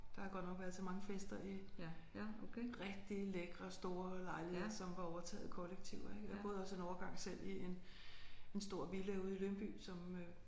Der har jeg godt nok været til mange fester i rigtig lækre store lejligheder som var overtaget af kollektiver ik og jeg boede også en overgang selv i en en stor villa ude i Lyngby som øh